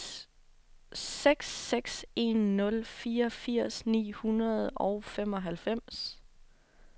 seks seks en nul fireogfirs ni hundrede og femoghalvfems